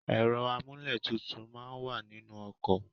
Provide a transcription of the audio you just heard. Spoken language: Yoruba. Ẹ̀rọ amúlétutù máa ń wà nínu ọkọ̀.